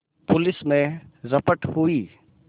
police में रपट हुई